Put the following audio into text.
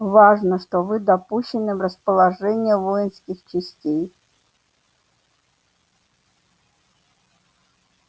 важно что вы допущены в расположение воинских частей